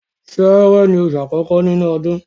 Sẹẹrẹ ni oṣù àkọ́kọ́ nínú ọdún.